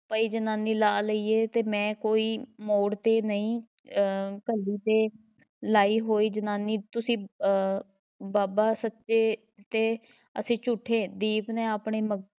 ਪਈ ਜਨਾਨੀ ਲਾ ਲਈਏ ਤੇ ਮੈਂ ਕੋਈ ਮੋੜ ‘ਤੇ ਨਹੀਂ ਅਹ ਘੱਲੀ ਤੇ ਲਾਈ ਹੋਈ ਜਨਾਨੀ ਤੁਸੀਂ ਅਹ ਬਾਬਾ ਸੱਚੇ ਤੇ ਅਸੀਂ ਝੂਠੇ ਦੀਪ ਨੇ ਆਪਣੇ ਮ~